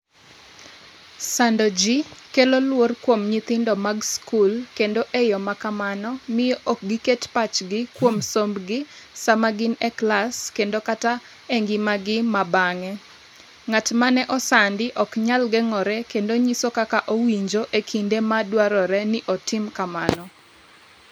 sando ji kelo luor kuom nyithindo mag skul kendo e yo ma kamano miyo ok giket pachgi kuom sombgi sama gin e klas kendo kata e ngimagi ma bang'e Ng’at mane osandi ok nyal geng’ore kendo nyiso kaka owinjo e kinde ma dwarore ni otim kamano.